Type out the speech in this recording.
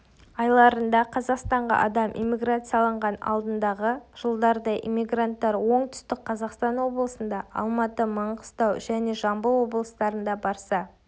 айларында қазақстанға адам иммиграцияланған алдындағы жылдардай иммигранттар оңтүстік қазақстан облысында алматы маңғыстау және жамбыл облыстарында барса